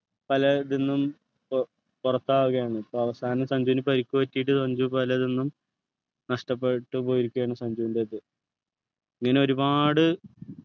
പല ഇതിന്നും പോ പുറത്താവുകയാണ് പ്പോ അവസാനം സഞ്ജുനു പരിക്ക് പറ്റീട്ട് സഞ്ജു പലതിന്നും നഷ്ടപ്പെട്ടു പോയിരിക്കുകയാണ് സഞ്ജുൻ്റെ അത് ഇങ്ങനെ ഒരുപാട്